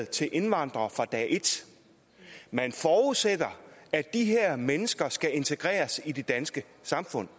til indvandrere fra dag et man forudsætter at de her mennesker skal integreres i det danske samfund